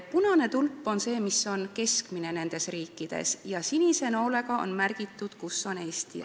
Punane tulp näitab nende riikide keskmist ja sinise noolega on märgitud see koht, kus on Eesti.